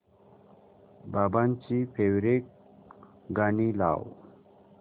बाबांची फेवरिट गाणी लाव